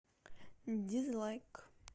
дизлайк